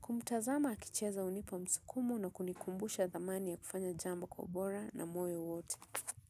Kumtazama akicheza hunipa msukumo na kunikumbusha thamani ya kufanya jambo kwa ubora na moyo wote.